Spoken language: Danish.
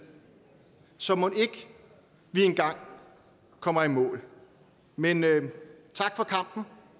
så mon ikke vi engang kommer i mål men tak for kampen